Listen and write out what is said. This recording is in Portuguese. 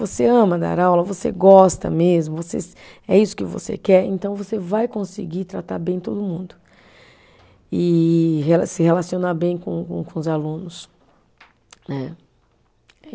Você ama dar aula, você gosta mesmo, você, é isso que você quer, então você vai conseguir tratar bem todo mundo e relacio, se relacionar bem com com os alunos, né.